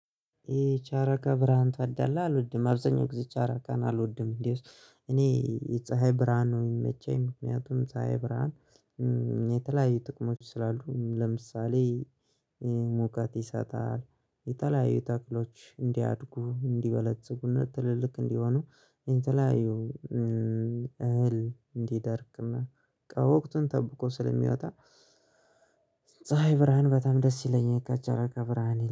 የጨረቃ ብርሃን ታዳለህ? አልወድም አብዛኛው ጊዜ ጨረቃን አልወድም እንዴ። እኔ ፀሀይ ብርሃን ነው የሚመቸኝ። ምክንያቱም ፀሀይ ብርሃን የተለያዩ ጥቅሞች ስላሉ። ለምሳሌ ሙቀት ይሰጣል። የተለያዩ ተክሎች እንዲያድጉ እንዲበለጽጉና ትልልቅ እንዲሆኑ። የተለያዩ እህል እንዲደርቅና ወቅቱን ጠብቆ ስለሚወጣ። ፀሀይ ብርሃን በጣም ደስ ይለኛል ከጨረቃ ብርሃን